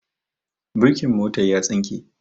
Birkin mota ya tsinke.